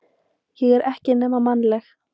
Ég er ekki nema mannleg.